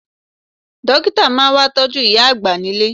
Dókítà máa wá tọ́jú ìyá àgbà nílé